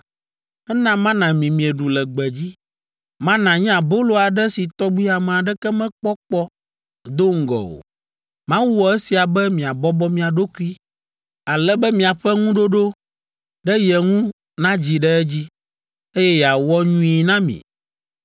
Ena mana mi mieɖu le gbedzi. Mana nye abolo aɖe si tɔgbi ame aɖeke mekpɔ kpɔ do ŋgɔ o. Mawu wɔ esia be miabɔbɔ mia ɖokui ale be miaƒe ŋuɖoɖo ɖe ye ŋu nadzi ɖe edzi, eye yeawɔ nyui na mi.